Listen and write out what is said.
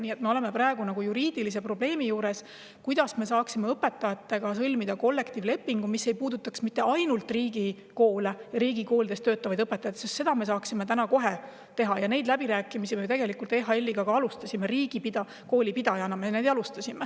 Nii et me oleme praegu juriidilise probleemi ees, kuidas me saaksime sõlmida kollektiivlepingu, mis ei puudutaks ainult riigikoole ja riigikoolides töötavaid õpetajaid – seda me saaksime täna kohe teha, neid läbirääkimisi me tegelikult ju EHL-iga juba alustasime, riigikooli pidajana me oleme neid alustanud.